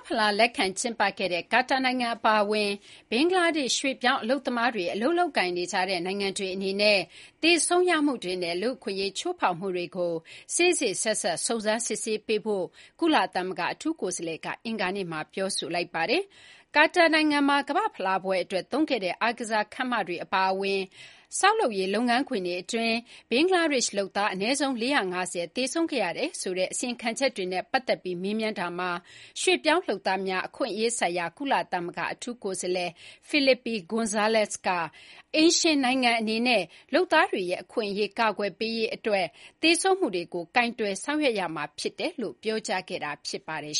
ဖလားလက်ခံကျင်းပခဲ့တဲ့ ကာတာနိုင်ငံအပါအဝင် ဘင်္ဂလားဒေ့ရှ် ရွှေ့ပြောင်းအလုပ်သမားတွေ အလုပ်လုပ်ကိုင်နေကြတဲ့ နိုင်ငံတွေအနေနဲ့ သေဆုံးရမှုတွေနဲ့ လူ့အခွင့်အရေးချိုးဖောက်မှုတွေကို စေ့စေ့စပ်စပ် စုံစမ်းစစ်ဆေးပေးဖို့ ကုလသမဂ္ဂအထူးကိုယ်စားလှယ်က အင်္ဂါနေ့မှာ ပြောဆိုလိုက်ပါတယ်။ ကာတာနိုင်ငံက ကမ္ဘာ့ဖလားပွဲအတွက်သုံးခဲ့တဲ့ အားကစားခန်းမတွေအပါအဝင် ဆောက်လုပ်ရေးလုပ်ငန်းခွင်တွေအတွင်း ဘင်္ဂလားဒေ့ရှ်လုပ်သား အနည်းဆုံး ၄၅၀ သေဆုံးခဲ့ရတယ်ဆိုတဲ့ အစီရင်ခံချက်တွေနဲ့ပတ်သက်ပြီး မေးမြန်းတာမှာ ရွှေ့ပြောင်းလုပ်သားများအခွင့်အရေးဆိုင်ရာ ကုလသမဂ္ဂအထူးကိုယ်စားလှယ် Felipe Gonzalez က အိမ်ရှင်နိုင်ငံအနေနဲ့ လုပ်သားတွေရဲ့အခွင့်အရေး ကာကွယ်ပေးဖို့ သေဆုံးမှုတွေကို ကိုင်တွယ်ဆောင်ရွက်ရမှာဖြစ်တယ်လို့ ပြောကြားတာ ဖြစ်ပါတယ်